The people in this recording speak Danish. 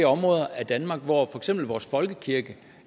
områder i danmark hvor for eksempel vores folkekirke